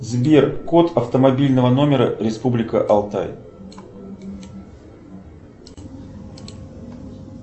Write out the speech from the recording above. сбер код автомобильного номера республика алтай